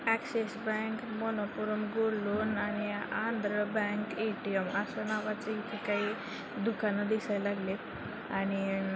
Axis bank Manappuram gold loan आणि Andhra bank ATM आस नावाच इथ काही दुकान दिसया लागलेत आणि अ --